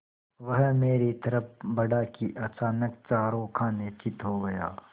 वह मेरी तरफ़ बढ़ा कि अचानक चारों खाने चित्त हो गया